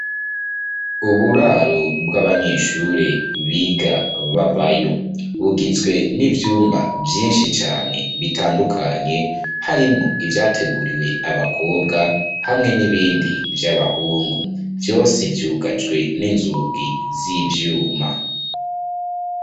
Uburaro bw'abanyeshuri biga babayo bugizwe n'ivyumba vyinshi cane bitandukanye harimwo ivyateguriwe abakobwa hamwe n'ibindi vy'abahungu vyose vyugajwe n'inzugi z'ivyuma.